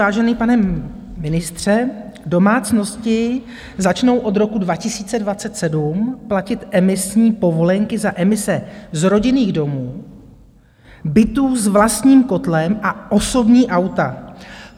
Vážený pane ministře, domácnosti začnou od roku 2027 platit emisní povolenky za emise z rodinných domů, bytů s vlastním kotlem a osobní auta.